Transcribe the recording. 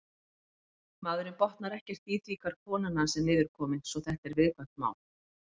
Maðurinn botnar ekkert í því hvar konan hans er niðurkomin svo þetta er viðkvæmt mál.